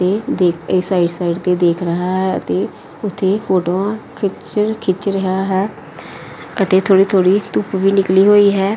ਇਹ ਦੇਖ ਇਹ ਸਾਈਡ ਸਾਈਡ ਤੇ ਦੇਖ ਰਿਹਾ ਹੈ ਅਤੇ ਉੱਥੇ ਫੋਟੋਆਂ ਖਿੱਚ ਖਿੱਚ ਰਿਹਾ ਹੈ ਅਤੇ ਥੋੜੀ ਥੋੜੀ ਧੁੱਪ ਵੀ ਨਿਕਲੀ ਹੋਈ ਹੈ।